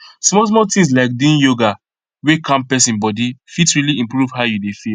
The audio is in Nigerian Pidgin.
smallsmall tins like doing yoga wey calm person body fit really improve how you dey feel